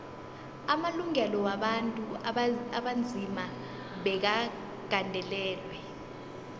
amalungelo wabantu abanzima bekagandelelwe